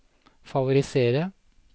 favorisere